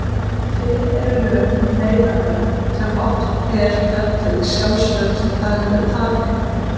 Til eru lög um neyðarvörn sem oft er kölluð sjálfsvörn í daglegu tali.